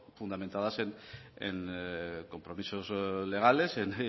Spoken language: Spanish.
fundamentadas en compromisos legales en